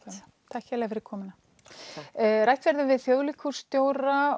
takk kærlega fyrir komuna rætt verður við þjóðleikhússtjóra